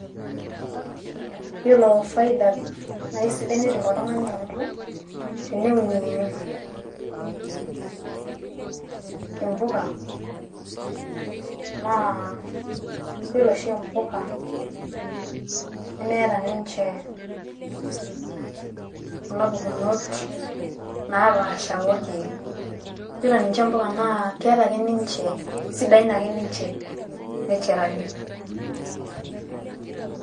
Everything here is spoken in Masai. Yiolo faida naa isidai naidim oltung`ani anoto teneunie impuka naa yiolo oshi mpuka nemeeta ninche kuna pukunot naa paasha oo ilkiek yiolo ninche mpuka naa keeta ake ninche keisidain ake ninche naturally.